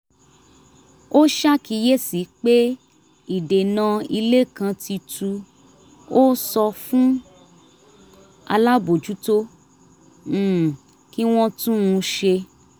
ó ṣàkíyèsí pé ìdènà ilé kan ti tu ó sọ fún alábòójútó um kí wọ́n tún un ṣe